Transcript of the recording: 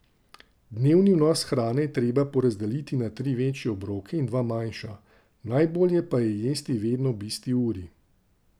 Dnevni vnos hrane je treba porazdeliti na tri večje obroke in dva manjša, najbolje pa je jesti vedno ob isti uri.